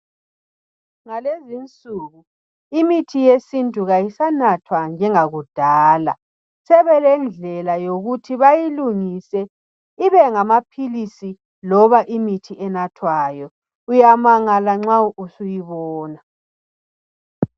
Ngalezinsiku imithi yesintu kayisanathwa njengakudala, sebelendlela yikuthi bayilungise ibe ngamaphilisi, loba imithi enathwayo, uyamangala nxa usuyibona.